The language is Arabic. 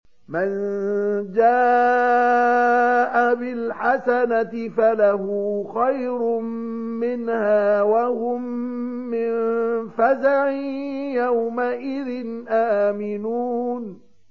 مَن جَاءَ بِالْحَسَنَةِ فَلَهُ خَيْرٌ مِّنْهَا وَهُم مِّن فَزَعٍ يَوْمَئِذٍ آمِنُونَ